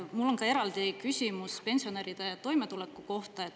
Mul on ka eraldi küsimus pensionäride toimetuleku kohta.